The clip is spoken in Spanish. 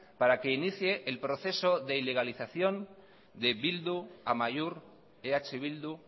para que inicie el proceso de ilegalización de bildu amaiur eh bildu